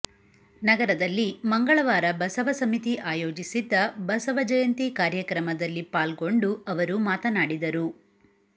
ನಗರದಲ್ಲಿ ಮಂಗಳವಾರ ಬಸವ ಸಮಿತಿ ಆಯೋಜಿಸಿದ್ದ ಬಸವ ಜಯಂತಿ ಕಾರ್ಯಕ್ರಮದಲ್ಲಿ ಪಾಲ್ಗೊಂಡು ಅವರು ಮಾತನಾಡಿದರು